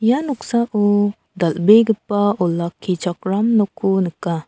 ia noksao dal·begipa olakkichakram nokko nika.